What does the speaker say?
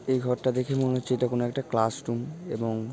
এই ঘরটা দেখে মনের হচ্ছে এটা কোনো একটা ক্লাস রুম এবং।